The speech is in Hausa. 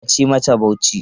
Kar a ci masa Bauchi!